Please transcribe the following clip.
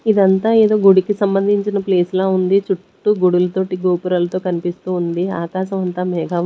ఇదంతా గుడికి సంభందించిన ప్లేస్ లా ఉంది చుట్టూ గుడులు తోటి గోపురాలతో కన్పిస్తూ ఉంది ఆకాశం అంతా మేఘావు.